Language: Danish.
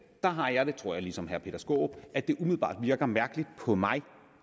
har jeg det tror jeg ligesom herre peter skaarup at det umiddelbart virker mærkeligt på mig